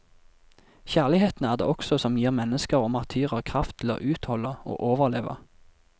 Kjærligheten er det også som gir mennesker og martyrer kraft til å utholde og overleve.